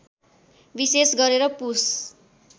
विशेष गरेर पुष